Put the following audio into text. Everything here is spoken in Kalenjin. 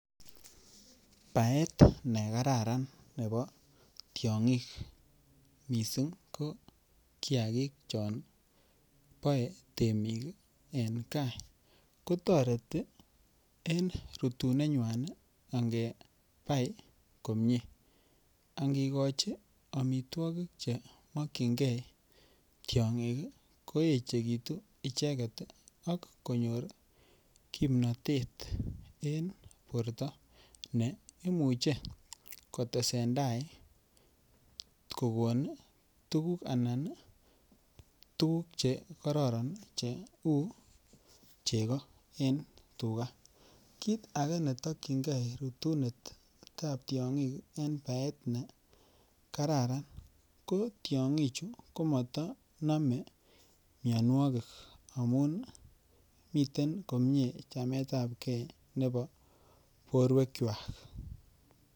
Paet nekararan nepo tiong'ik mising ko kiakik chon poe temik en kaa kotoreti en rutunet nywan pai komie angekoch omitwokik chemakchinkee tiong'ik koechekitu icheket ak konyor kimnotet en port ne imuchei kotesen tai kokon tukuk anan tukuk chekororon cheu cheko en tuka kiit ake netokchinkee rutunet ap tiong'ik eng paet nekararan kotiongik chu ko matanome mionwokik amun miten komie chamet ap kee nepo porwekwach